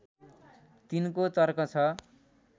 तिनको तर्क छ